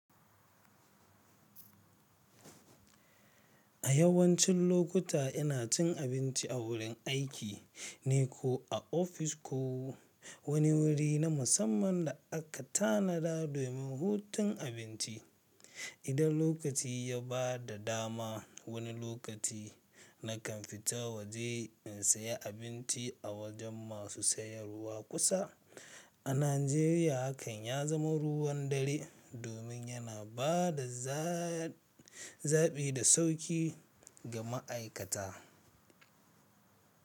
A yawancin lokuta ina cin abinci a wurin aiki ne ko a ofis ko wani wuri na musamman da aka tanada domin hutun abinci. Idan lokaci ya ba da dama, wani lokaci na kan fita waje in saya abinci a wajen masu sayarwa kusa. A Najeriya hakan ya zama ruwan dare domin yana ba da zabi da sauƙi ga ma'aikata.